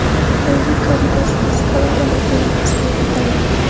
Yangi Cadillac Escalada mobil ofisga aylantiriladi.